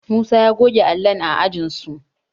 Musa ya goge allon ajinsu